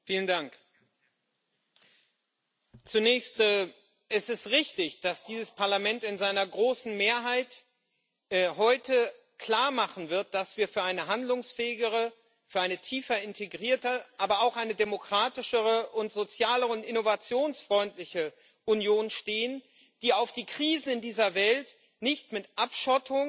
Herr Präsident! Zunächst Es ist richtig, dass dieses Parlament in seiner großen Mehrheit heute klarmachen wird, dass wir für eine handlungsfähigere, für eine tiefer integrierte, aber auch eine demokratischere und soziale und innovationsfreundliche Union stehen, die auf die Krisen in dieser Welt nicht mit Abschottung,